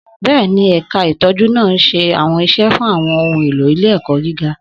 Bẹ́ẹ̀ni, ẹ̀ka ìtọ́jú náà ń ṣe àwọn iṣẹ́ fún àwọn ohun èlò ilé-ẹ̀kọ́ gíga.